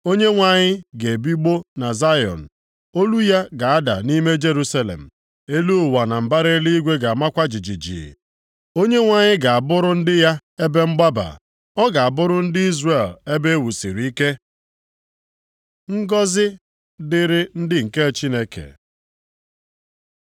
Onyenwe anyị ga-ebigbọ na Zayọn, olu ya ga-ada nʼime Jerusalem. Elu ụwa na mbara eluigwe ga-amakwa jijiji. Onyenwe anyị ga-abụrụ ndị ya ebe mgbaba. Ọ ga-abụrụ ndị Izrel ebe e wusiri ike. Ngọzị dịrị ndị nke Chineke